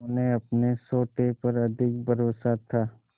उन्हें अपने सोटे पर अधिक भरोसा था